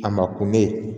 A ma kun bɛ